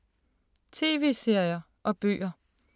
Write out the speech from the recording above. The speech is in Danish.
TV-serier og bøger